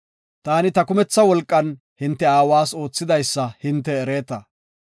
Taani ta kumetha wolqan hinte aawas oothidaysa hinte ereeta.